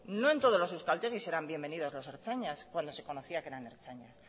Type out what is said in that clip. no en todos los euskaltegis eran bienvenidos los ertzainas cuando se conocía que eran ertzainas